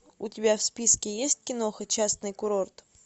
у тебя в списке есть киноха частный курорт